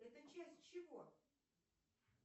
это часть чего